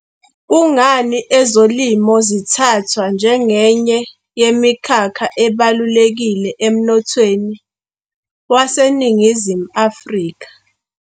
Kungani ezolimo zithathwa njengenye yemikhakha ebalulekile emnothweni waseNingizimu Afrika?